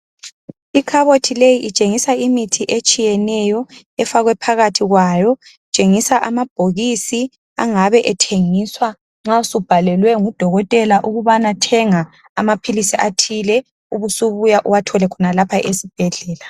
Ikhabothi leyi itshengisa imithi etshiyeneyo efakwe phakathi kwayo, itshengisa amabhokisi angabe ethengiswa nxawusubhalelwe ngu Dokotela ukubana thenga amaphilisi athile ubusubuya uwathole khonapha esibhedlela.